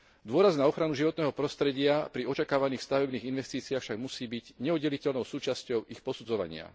Dôraz na ochranu životného prostredia pri očakávaných stavebných investíciách však musí byť neoddeliteľnou súčasťou ich posudzovania.